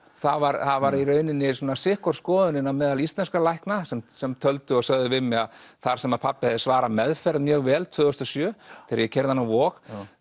það var sitt hvor skoðunin á meðal íslenskra lækna sem sem töldu og sögðu við mig að þar sem pabbi hefði svarað meðferð mjög vel tvö þúsund og sjö þegar ég keyrði hann á Vog